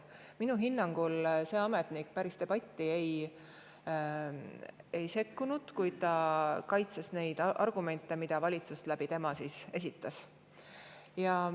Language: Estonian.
Minu hinnangul see ametnik päris debatti ei sekkunud, kuid ta kaitses neid argumente, mida valitsus tema kaudu edastas.